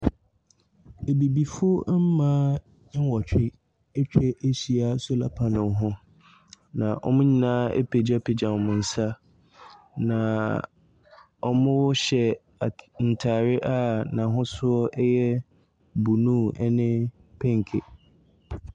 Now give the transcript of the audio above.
Abibifo mmaa nwɔtwe atwa ahyia solar panel ho. Na wɔn nyinaa apegyapegya wɔn nsa. Na wɔhyɛ ata, ntaareɛ a n'ahosuo blue ne pinke.